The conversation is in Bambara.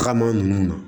Kagama ninnu